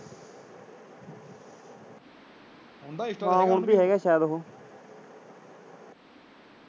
ਹਾਂ ਓਹਦਾ ਹੈਗਾ ਸ਼ਾਇਦ ਉਹ।